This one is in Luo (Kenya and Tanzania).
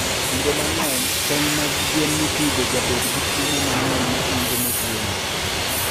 kinde mangeny tong mag gwen mipidho jabedo gi chiemo mangeny mahingo motwene